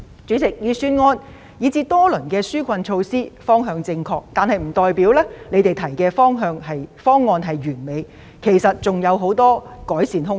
主席，雖然預算案及多輪紓困措施的方向正確，但這並不表示所提出的方案完美，其實還有很多改善空間。